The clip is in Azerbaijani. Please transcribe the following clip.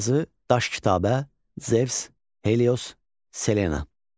Yazı, Daş kitabə, Zevs, Helios, Selena.